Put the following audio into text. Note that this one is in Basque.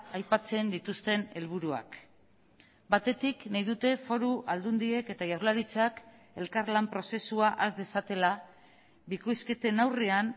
aipatzen dituzten helburuak batetik nahi dute foru aldundiek eta jaurlaritzak elkarlan prozesua has dezatela bikoizketen aurrean